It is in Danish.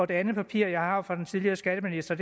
det andet papir jeg har fra den tidligere skatteminister